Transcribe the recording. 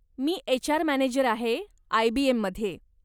मी HR. Manager आहे, आय.बी.एम.मध्ये.